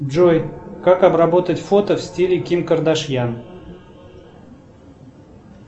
джой как обработать фото в стиле ким кардашьян